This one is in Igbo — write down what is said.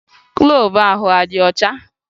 Gloovu ahụ adị ọcha?